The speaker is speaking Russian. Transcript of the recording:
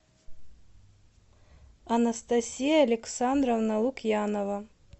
анастасия александровна лукьянова